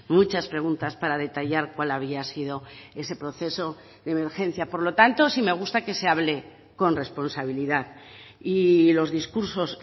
muchas preguntas para detallar cuál había sido ese proceso de emergencia por lo tanto sí me gusta que se hable con responsabilidad y los discursos